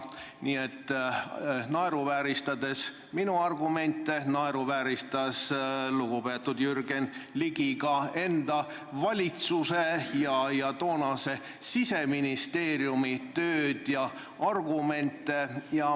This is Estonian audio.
Nii et naeruvääristades minu argumente, naeruvääristas lugupeetud Jürgen Ligi ka enda valitsuse ja toonase Siseministeeriumi tööd ja argumente.